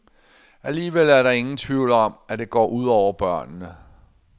Alligevel er der ingen tvivl om, at det går ud over børnene.